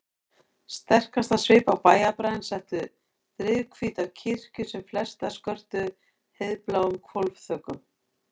Sterkastan svip á bæjarbraginn settu drifhvítar kirkjur sem flestar skörtuðu heiðbláum hvolfþökum.